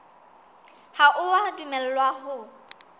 ha o a dumellwa ho